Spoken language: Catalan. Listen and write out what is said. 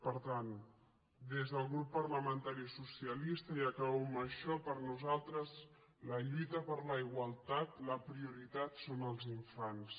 per tant des del grup parlamentari socialista i acabo amb això per nosaltres la lluita per la igualtat la prioritat són els infants